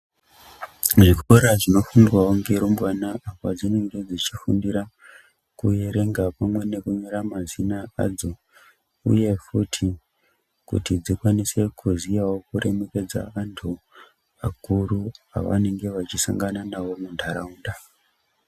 Zvikora zvinofundirwa nerumbwana padzinenge dzichifundira kuerenga pamwe nekunyora mazina adzo uye futi kuti dzikwanise kuziyawo kuremekedza antu akuru Pavanenge vachisangana nawo mundaraunda.